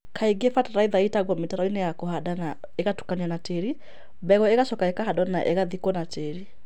Kaingĩ fatalaitha ĩitagwo mitaroinĩ ya kũhanda na ũgatukanwo na tĩĩri; mbegũ ĩgacoka ĩkahandwo na ĩgathikwo na tĩĩri.